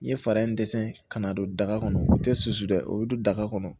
N ye fari in dɛsɛ ka n'a don daga kɔnɔ u tɛ susu dɛ o bɛ don daga kɔnɔ